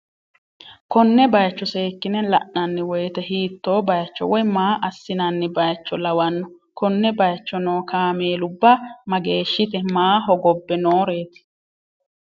konne bayicho seekki'ne la'nanni woyite hiitto bayicho woy maa assi'nanni bayicho lawanno? konne bayicho noo kaameelubba mageeshshite? maa hogobbe nooreeti?